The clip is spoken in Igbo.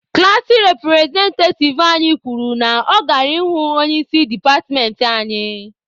Klaasị repụrezentativ anyị kwuru na ọ gara ịhụ onye isi departmentị anyị.